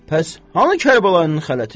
Bəs hanı Kərbəlayının xələti?